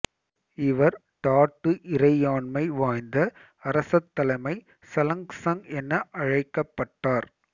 இவர் டாட்டு இறையாண்மை வாய்ந்த அரசத்தலைமை சலங்சங் என அழைக்கப்பட்டார்